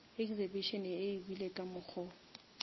exhibition e ebile ka mokgo